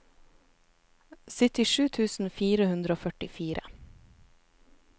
syttisju tusen fire hundre og førtifire